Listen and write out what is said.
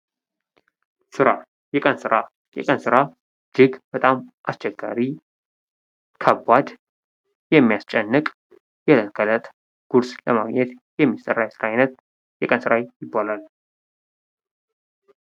ስራ የቀን ስራ የቀን ስራ እጅግ በጣም አስቸጋሪ፣ ከባድ፣ የሚያስጨንቅ የእለት ከለት ቁርስ ለማግኘት የሚሰራ የስራ አይነት የቀን ስራ ይባላል።